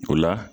O la